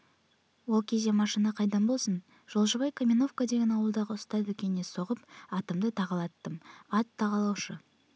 ол кезде машина қайдан болсын жолшыбай каменовка деген ауылдағы ұста дүкеніне соғып атымды тағалаттым ат тағалаушы